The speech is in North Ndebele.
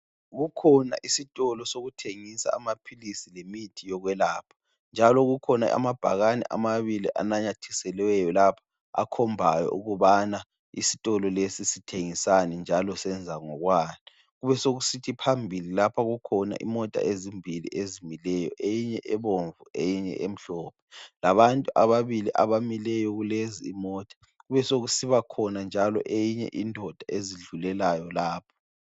Kukhona isitolo sokuthengisa amaphilisi lemithi yokwelapha njalo kukhona amabhakane amabili ananyathiselweyo akhombayo ukubana isitolo lesi sithengisani njalo senza ngokwani. Kubesekusithi phambili lapha kukhona imota ezimbili ezimileyo. Eyinye ebomvu eyinye emhlophe. Labantu ababili abamileyo kulezi imota. Kubesekusiba khona njalo eyinye indoda ezidlulelayo lapha.